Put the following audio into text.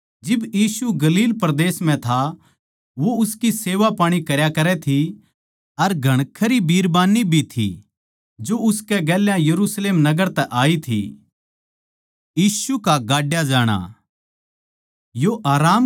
जिब यीशु गलील परदेस म्ह था तो ये जनानियाँ जो यीशु की चेल्लें थी वो उसकी सेवापाणी करया करै थी अर घणखरी बिरबान्नी भी थी जो उसकै गेल्या यरुशलेम नगर तै आई थी